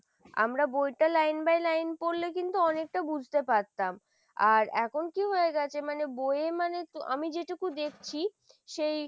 আমরা বইটা line by line পড়লে কিন্তু অনেকটা বুঝতে পারতাম আর এখন কি হয়ে গেছে মানে বইয়ে মানে আমি যেটুকু দেখছি সেই